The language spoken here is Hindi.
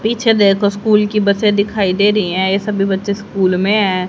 पीछे देखो स्कूल की बसें दिखाई दे रही हैं ये सब भी बच्चे स्कूल में हैं।